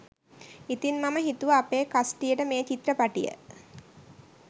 ඉතින් මම හිතුව අපේ කස්ටියට මේ චිත්‍රපටිය